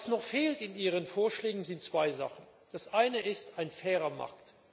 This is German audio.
Was noch fehlt in Ihren Vorschlägen, sind zwei Sachen Das eine ist ein fairer Markt.